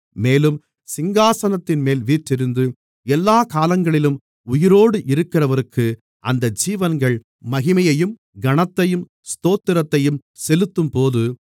மேலும் சிங்காசனத்தின்மேல் வீற்றிருந்து எல்லாக் காலங்களிலும் உயிரோடு இருக்கிறவருக்கு அந்த ஜீவன்கள் மகிமையையும் கனத்தையும் ஸ்தோத்திரத்தையும் செலுத்தும்போது